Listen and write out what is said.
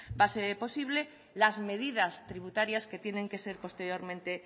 base posible las medidas tributarias que tienen que ser posteriormente